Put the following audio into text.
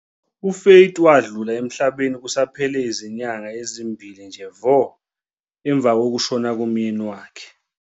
UFaith wadlula emhlabeni kusaphele izinyanga ezimbili nje vo emva kokushona komyeni wakhe.